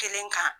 Kelen kan